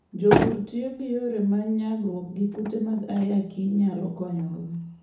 Jopur tiyo gi yore ma nyagruok gi kute mag ayaki nyalo konyogo.